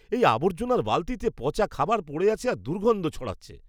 এই আবর্জনার বালতিতে পচা খাবার পড়ে আছে আর দুর্গন্ধ ছড়াচ্ছে।